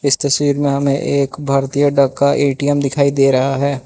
इस तस्वीर में हमें एक भारतीय डाक का ए_टी_एम दिखाई दे रहा है।